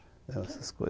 Essas coisas